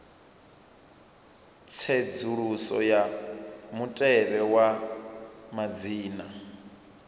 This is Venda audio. tsedzuluso ya mutevhe wa madzina